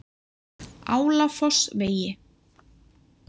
Álafossvegi